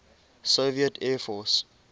soviet air force